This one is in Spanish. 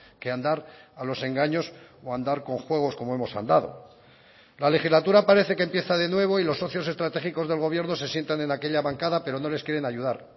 que andar a los engaños o andar con juegos como hemos andado la legislatura parece que empieza de nuevo y los socios estratégicos del gobierno se sientan en aquella bancada pero no les quieren ayudar